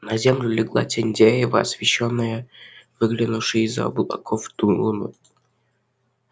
на землю легла тень дерева освещённая выглянувшей из за облаков луной